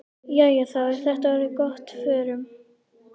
Jæja, þá er þetta orðið gott. Förum.